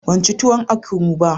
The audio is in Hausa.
Ban ci tuwon ekuru ba.